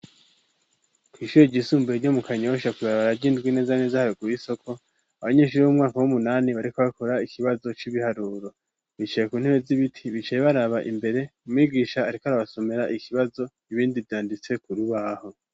Kw ishure ryisumbuye ryo mu Kanyosha kw'ibarabara ry'indwi neza neza haruguru y'isoko abanyeshuri b'umwaka w'umunani bariko bakora ikibazo c'ibiharuro bicaye ku ntebe z'ibiti bicaye baraba imbere umwigisha ariko arabasomera ikibazo ibindi vyanditse ku rubaho.